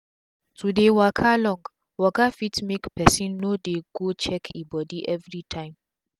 to dey waka long waka fit make pesin no dey go check e bodi everi tym